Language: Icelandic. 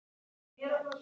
En er það svo.